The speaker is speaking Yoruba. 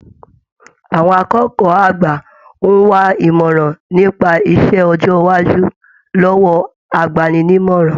Àwọn akẹ́kọ̀ọ́ àgbà n wà imọran nípa iṣẹ ọjọ iwájú lọwọ àgbàni-ní-ìmọràn.